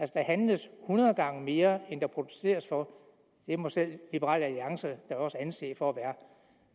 der handles hundrede gange mere end der produceres for det må selv liberal alliance da også anse for at være